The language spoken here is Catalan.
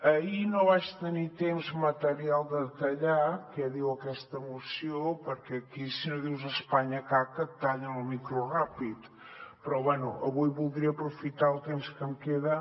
ahir no vaig tenir temps material de detallar què diu aquesta moció perquè aquí si no dius espanya caca et tallen el micro ràpid però bé avui voldria aprofitar el temps que em queda